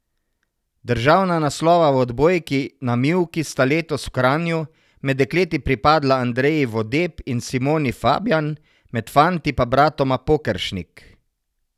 Državna naslova v odbojki na mivki sta letos v Kranju med dekleti pripadla Andreji Vodeb in Simoni Fabjan, med fanti pa bratoma Pokeršnik.